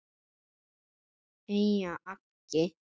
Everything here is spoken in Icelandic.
Einar þagði.